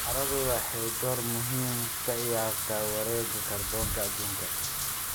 Carradu waxay door muhiim ah ka ciyaartaa wareegga kaarboonka adduunka.